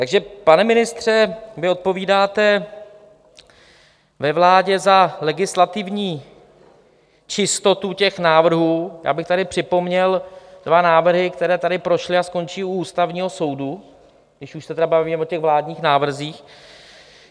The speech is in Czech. Takže, pane ministře, vy odpovídáte ve vládě na legislativní čistotu těch návrhů - já bych tady připomněl dva návrhy, které tady prošly a skončí u Ústavního soudu, když už se tedy bavíme o těch vládních návrzích.